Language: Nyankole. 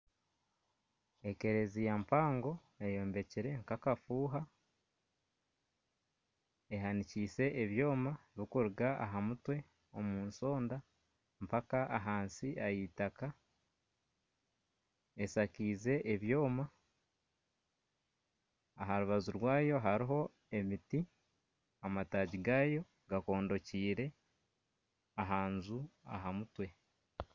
Ekereziya mpango eyombekire nkakafuha ehanikiise ebyoma bikuruga aha mutwe omu nsonda mpaka ahansi ah'eitaka eshakaize ebyoma aha rubaju rwayo hariho emiti amataagi gaayo gakondokiire ahanju aha mutwe